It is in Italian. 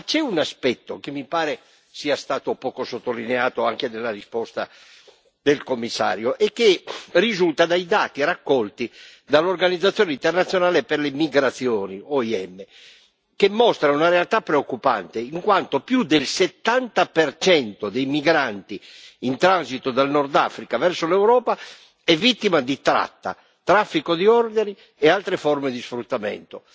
Ma c'è un aspetto che mi pare sia stato poco sottolineato, anche nella risposta del commissario, e che risulta dai dati raccolti dall'Organizzazione internazionale per le migrazioni che mostra una realtà preoccupante, in quanto più del 70 dei migranti in transito dal Nord Africa verso l'Europa è vittima di tratta, traffico di organi e altre forme di sfruttamento.